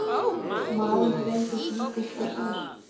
Maðurinn reyndist lítið slasaður